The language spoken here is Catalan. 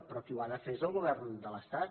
però qui ho ha de fer és el govern de l’estat